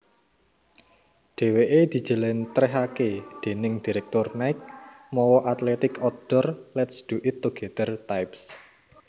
Dheweke dijelentrehake déning direktur Nike mawa athletic outdoor lets do it together types